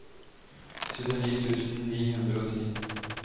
syttini tusen ni hundre og ti